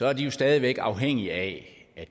er de jo stadig væk afhængige af at